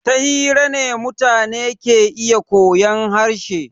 Ta hira ne mutane ke iya koyan harshe.